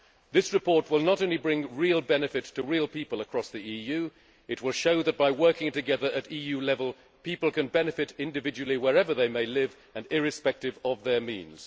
This report will not only bring real benefits to real people across the EU but will show that by working together at EU level people can benefit individually wherever they may live and irrespective of their means.